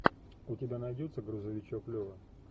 у тебя найдется грузовичок лева